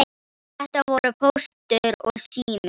Þetta voru Póstur og Sími.